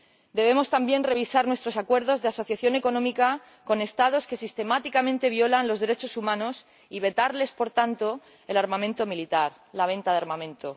Debemos también revisar nuestros acuerdos de asociación económica con Estados que sistemáticamente violan los derechos humanos y vetarles, por tanto, el armamento militar, la venta de armamento.